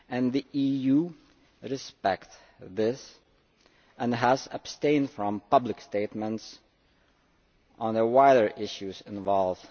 The EU respects this and has abstained from public statements on the wider issues involved.